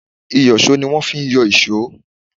Ìyọ̀ṣó ni wón fi ń yọ ìṣọ́.